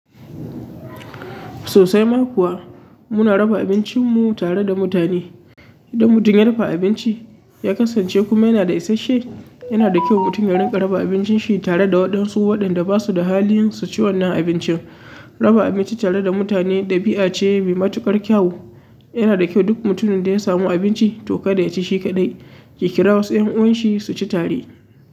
Sosai ma kuwa, muna raba abincinmu tare da mutane. Idan mutum ya rufa abinci, ya kasance kuma yana da isasshe, yana da kyau mutum ya riƙa raba abincin shi tare da waɗansu waɗanda ba su da halin su ci wannan abincin. Raba abinci tare da mutane ɗabi'a ce mai matuƙar kyau. Yana da kyau duk mutumin da ya samu abinci to kada ya ci shi kaɗai, ya kira wasu 'yan uwanshi su ci tare.